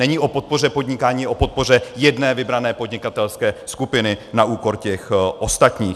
Není o podpoře podnikání, je o podpoře jedné vybrané podnikatelské skupiny na úkor těch ostatních.